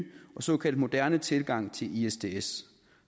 og såkaldt moderne tilgang til isds isds